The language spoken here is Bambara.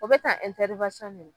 O bɛ ka